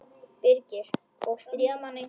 Birgir: Og stríða manni.